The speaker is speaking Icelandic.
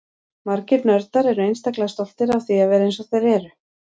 Margir nördar eru einstaklega stoltir af því að vera eins og þeir eru.